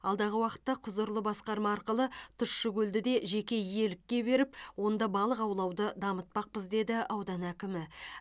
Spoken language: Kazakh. алдағы уақытта құзырлы басқарма арқылы тұщы көлді де жеке иелікке беріп онда балық аулауды дамытпақпыз деді аудан әкімі